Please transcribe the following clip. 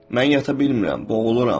Mən yata bilmirəm, boğuluram.